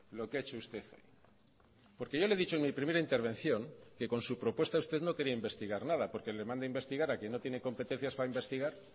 lo que ha hecho usted porque yo le he dicho en mi primera intervención que con su propuesta usted no quería investigar nada porque le manda investigar a quien no tiene competencias para investigar